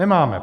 Nemáme.